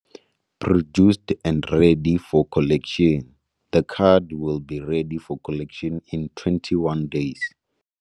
Produced and ready for collection. The card will be ready for collection in 21 days.